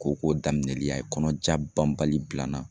Ko ko daminɛli a ye kɔnɔ ja banbali bila n na.